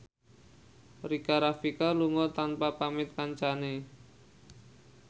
Rika Rafika lunga tanpa pamit kancane